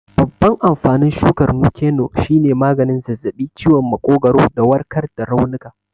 Babban amfanin shukar Nuke-noh shine maganin zazzabi, ciwon makogwaro, da warkar da raunuka.